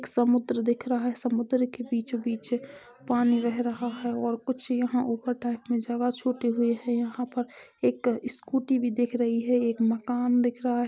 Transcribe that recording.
समुद्र दिखा रहा है समुद्र के बीचो बिच अ पानी बह रहा है और कुछ यहाँ ऊपर टाइप में जगह छूटी हुई हैं यहाँ पर एक स्कूटी भी दिख रही हें एक मकान दिख रहा हें।